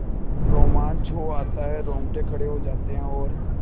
रोमांच हो आता है रोंगटे खड़े हो जाते हैं और